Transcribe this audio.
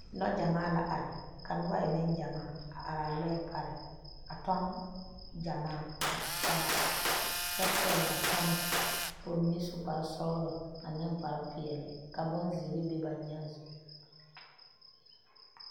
Lɛ gyamaa la are ka nobɔ e neŋgyamaa a araa lɔɛ pare a tɔŋ gyamaa tutaa kyɛ pɛgle ba tama ka ba mine su kparesɔglɔ ane kparepeɛle ka bonzeere be ba nyaaŋ.